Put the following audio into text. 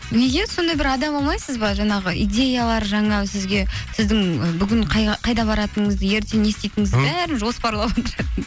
неге сондай бір адам алмайсыз ба жаңағы идеялар жаңа сізге сіздің ы бүгін қайда баратыныңызды ертең не істейтініңізді бәрін жоспарлап отыратын